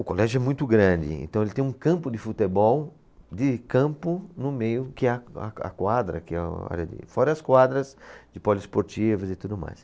O colégio é muito grande, então ele tem um campo de futebol, de campo, no meio, que é a, a, a quadra, que é uma área de, fora as quadras de poliesportivas e tudo mais.